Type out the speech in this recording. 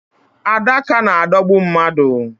Adaka na-adọgbu mmadu.